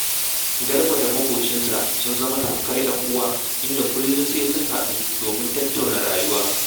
Garba da maƙocinsa sun zama tamkar 'yan uwa, inda kullum sai sun haɗu domin tattauna rayuwa.